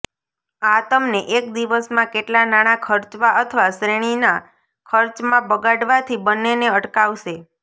આ તમને એક દિવસમાં કેટલાં નાણાં ખર્ચવા અથવા શ્રેણીના ખર્ચમાં બગાડવાથી બન્નેને અટકાવશે